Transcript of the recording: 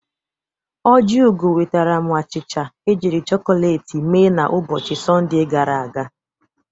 Ojiugo nwetaram achịcha e jiri chọkọleti mee n'ụbọchị Sọnde gara aga.